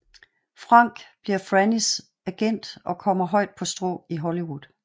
Frank bliver Frannys agent og kommer højt på strå i Hollywood